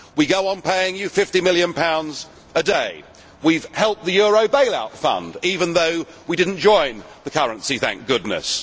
We go on paying you GBP 50 million a day. We have helped the euro bailout fund, even though we did not join the currency, thank goodness.